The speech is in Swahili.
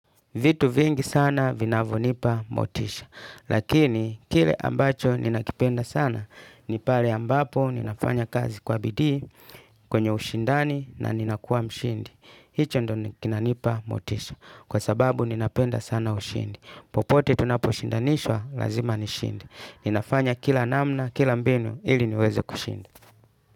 Vitu vingi sana vinavyonipa motisha, lakini kile ambacho ninakipenda sana, ni pale ambapo ninafanya kazi kwa bidii, kwenye ushindani na nina kuwa mshindi. Hicho ndo kinanipa motisha, kwa sababu ninapenda sana ushindi. Popote tunaposhindanishwa, lazima nishinde. Ninafanya kila namna kila mbinu ili niweze kushinda.